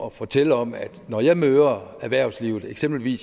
at fortælle om at når jeg møder erhvervslivet for eksempel i